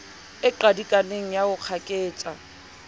e qadikaneng ya ho kgaketsa